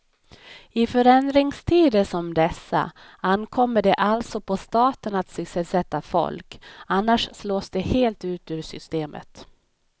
I förändringstider som dessa ankommer det alltså på staten att sysselsätta folk, annars slås de helt ut ur systemet.